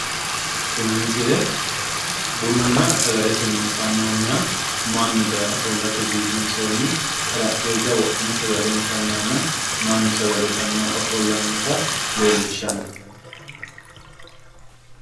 Tini misile bununna sagalete mine fannoonniha mannu daye ofollate biifinsoonni xarapheezza wodhine sagale intanniha mannu sagale itannohu ofollannota leellishshanni no.